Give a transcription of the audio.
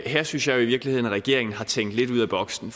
her synes jeg jo i virkeligheden at regeringen har tænkt lidt ud af boksen